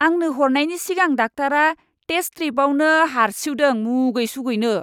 आंनो हरनायनि सिगां डाक्टारा टेस्ट स्ट्रिपावनो हारसिउदों मुगै सुगैनो!